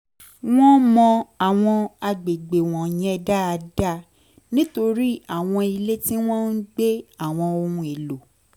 wọ́n mọ àwọn àgbègbè wọ̀nyẹn dáadáa nítorí àwọn ilé tí wọ́n ń gbé àwọn ohun èlò